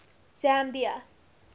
zambia